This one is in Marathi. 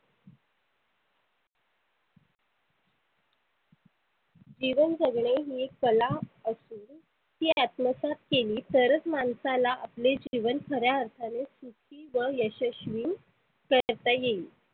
जीवन जगणे ही एक कला असुन ती अत्मसात केली तरच मानसाला आपले जिवन खऱ्या अर्थाने सुखी व यशस्वी करता येईल.